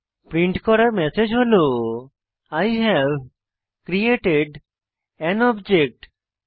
রিন্ট করা ম্যাসেজ হল I have created an object দেখবেন